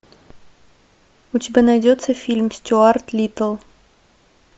у тебя найдется фильм стюарт литтл